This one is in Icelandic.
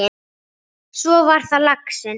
Svo var það laxinn!